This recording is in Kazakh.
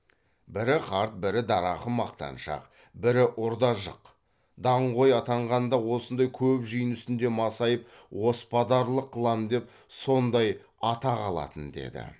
бірі қарт бірі дарақы мақтаншақ бірі ұр да жық даңғой атанғанда осындай көп жиын үстінде масайып оспадарлық қылам деп сондай атақ алатын деді